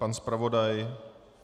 Pan zpravodaj?